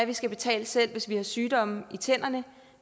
vi skal betale selv hvis vi har sygdomme i tænderne